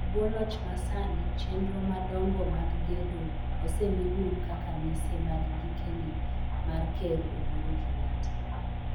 E bwo loch masani, chenro madongo mag gedo osemi duong' kaka mise mag gikeni mar Ker Uhuru Kenyatta.